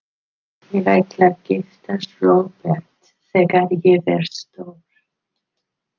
Ég ætla að giftast Róbert þegar ég verð stór.